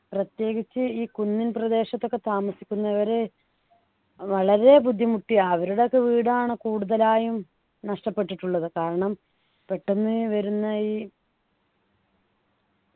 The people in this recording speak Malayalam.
പ്രത്യേകിച്ച് ഈ കുന്നിൻ പ്രദേശത്ത് ഒക്കെ താമസിക്കുന്നവരെ വളരെ ബുദ്ധിമുട്ടി അവരുടെയൊക്കെ വീടാണ് കൂടുതലായും നഷ്ടപ്പെട്ടിട്ടുള്ളത് കാരണം പെട്ടെന്ന് വരുന്ന ഈ